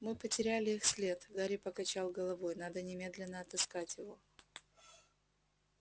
мы потеряли их след гарри покачал головой надо немедленно отыскать его